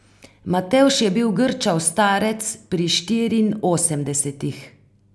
Matevž je bil grčav starec pri štiriinosemdesetih.